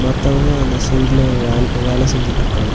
மத்தவங்க அந்த சைடுல வேல் வேல செஞ்சிட்ருக்காங்க.